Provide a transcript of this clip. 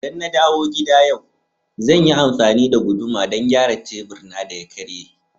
ldan na dawo gida yau, zan yi amfani da guduma don gyara tebur na da ya karye.